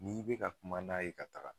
N'i be ka kuma n'a ye ka taga.